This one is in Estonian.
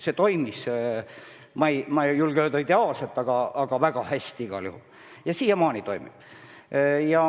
Kõik toimis, ma ei julge öelda, et ideaalselt, aga väga hästi igal juhul ja siiamaani toimib.